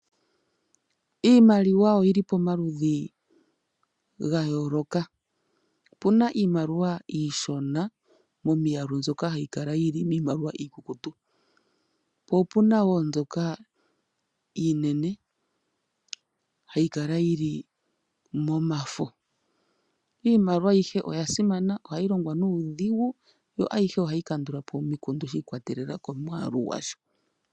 Iimaliwa oyili pomaludhi gayooloka. Opuna iimaliwa iishona momiyalu mbyoka hayi kala yili miimaliwa iikukutu po opuna woo mbyoka iinene hayi kala yili momafo. Iimaliwa ayihe oya simana ohayi longithwa nuudhigu yo ayihe ohayi kandulapo omikundu shiikwatelela komwaalu gwa sho.